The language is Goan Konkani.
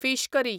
fish curry